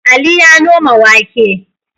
Ali ya noma wake.